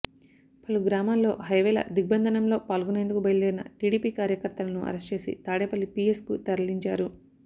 పలు గ్రామాల్లో హైవేల దిగ్బంధనంలో పాల్గొనేందుకు బయల్దేరిన టీడీపీ కార్యకర్తలను అరెస్ట్ చేసి తాడేపల్లి పీఎస్కు తరలించారు